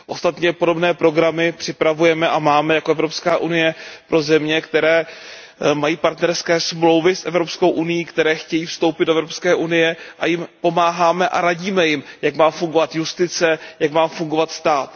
Ostatně podobné programy připravujeme a máme jako Evropská unie pro země, které mají partnerské smlouvy s Evropskou unií, které chtějí vstoupit do Evropské unie, a pomáháme a radíme jim, jak má fungovat justice, jak má fungovat stát.